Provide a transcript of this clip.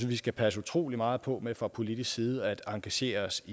vi skal passe utrolig meget på med fra politisk side at engagere os